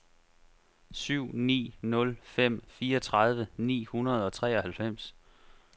syv ni nul fem fireogtredive ni hundrede og treoghalvfems